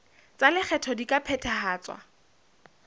tsa lekgetho di ka phethahatswa